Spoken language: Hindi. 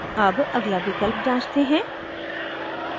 अब अगला विकल्प जांचते हैं